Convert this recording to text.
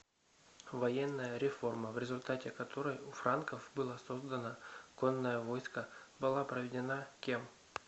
военная реформа в результате которой у франков было создано конное войско была проведена кем